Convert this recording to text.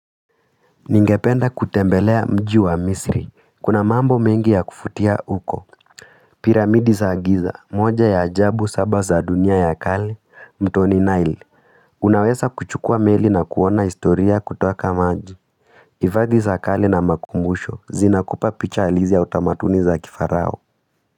Ningependa kutembelea mji wa misri, kuna mambo mengi ya kuvutia huko, piramidi za giza, moja ya ajabu, saba za dunia ya kale, mtoni Nail, unaweza kuchukua meli na kuona historia kuteka maji Ifadhi za kale na makumbusho, zinakupa picha halisi ya utamaduni za kifarao.